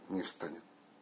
не встанет